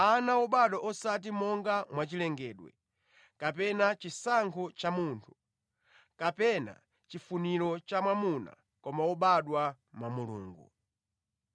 ana wobadwa osati monga mwachilengedwe, kapena chisankho cha munthu, kapena chifuniro cha mwamuna koma wobadwa mwa Mulungu.